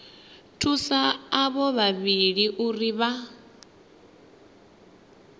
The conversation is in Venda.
thusa avho vhavhili uri vha